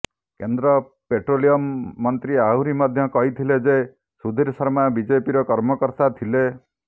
କେନ୍ଦ୍ର ପେଟ୍ରୋଲିୟମ ମନ୍ତ୍ରୀ ଆହୁରି ମଧ୍ୟ କହିଥିଲ ଯେ ସୁଧୀର ଶର୍ମା ବିଜେପିର କର୍ମକର୍ତ୍ତା ଥିଲେ